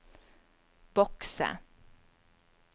bokse